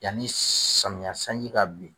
Yanni samiya sanji ka bin.